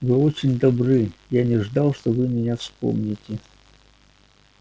вы очень добры я не ждал что вы меня вспомните